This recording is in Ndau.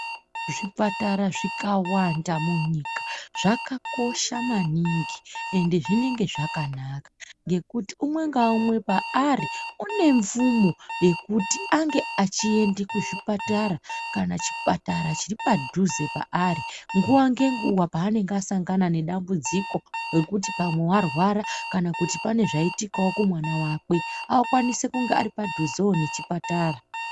Zvipatara zvikawanda munyika zvakakosha maningi ende zvinenge zvakanaka, ngekuti umwe ngaumwe paari une mvumo yokuti ange achienda kuzvipatara kana chipatara chiri padhuze paari nguwa nenguwa panenge asangana nedambudziko rekuti pamwe warwara kana kuti pane zvaitikawo kumwana wake akwanise kunge ari padhuzewo nechipatara.